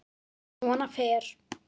Svona fer.